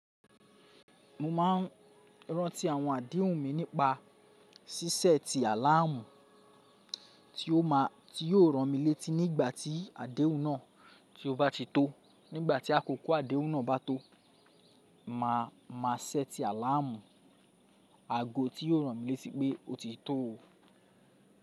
Mo ma n rántí àwọn àdéhùn mi nípa ṣíṣẹ ti àláàmù tí yóò ràn mí létí nígbà tí àdéhùn náà ti ó bá ti tó. Nígbà tí àkókò àdéhùn náà bá tó, màá má ṣẹ́ẹ̀tì àláàmù aago tí yóò ràn mí létí pé otí tó o.